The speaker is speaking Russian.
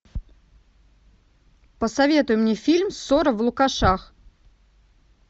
посоветуй мне фильм ссора в лукашах